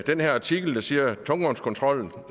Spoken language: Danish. den her artikel der siger at tungvognskontrollen